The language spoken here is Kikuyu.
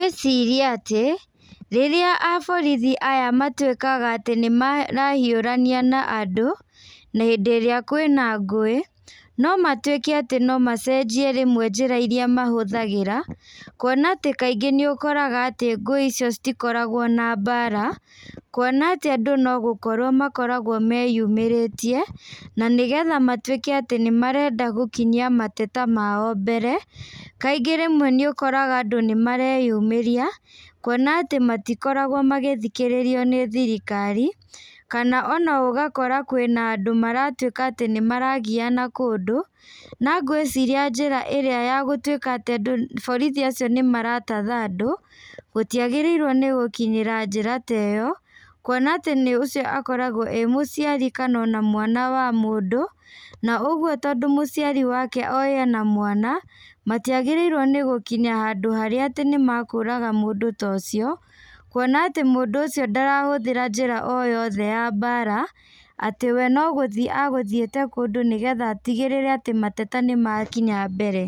Ngwĩciria atĩ, rĩrĩa aborithi aya matuĩkaga atĩ nĩmarahiũrania na andũ, hĩndĩ ĩrĩa kwĩna ngũĩ, nomatuĩke atĩ nomacenjie rĩmwe njĩra iria mahũthagĩra, kuona atĩ kaingĩ nĩũkoraga atĩ ngũi icio citikoragwo na mbara, kuona atĩ andũ no gũkorwo makoragwo me yũmĩrĩtie, na nĩgetha matuĩke atĩ nĩmarenda gũkinyia mateta mao mbere, kaingĩ rĩmwe nĩũkoraga andũ nĩmareyumĩria, kuona atĩ matikoragwo magĩthikĩrĩrio nĩ thirikari, kana ona ũgakora kwĩna andũ maratuĩka atĩ nĩmaragiana kũndũ, na ngwĩciria njĩra ĩrĩa ya gũtuĩka atĩ andũ borithi acio nĩmaratatha andũ, gũtiagĩrĩirwo nĩgũkinyĩra njĩra ta ĩyo, kuona atĩ nĩ ũcio akoragwo e mũciari kana ona mwana wa mũndũ, na ũguo tondũ mũciari wake oĩ ena mwana, matiagĩrĩirwo nĩgũkinya handũ harĩa atĩ nĩmakũraga mũndũ ta ũcio, kuona atĩ mũndũ ũcio ndarahũthĩra njĩra o yothe ya mbara, atĩ we no gũthiĩ agũthiĩte kũndũ nĩgetha atigĩrĩre atĩ mateta nĩmakinya mbere.